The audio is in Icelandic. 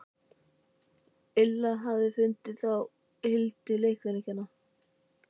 Illa til fundið hjá Hildi leikfimikennara.